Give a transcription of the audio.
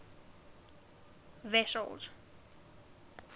wessels